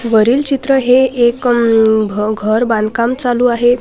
वरील चित्र हे एक घर बांधकाम चालू आहे.